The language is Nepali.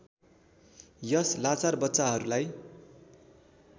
यस लाचार बच्चाहरूलाई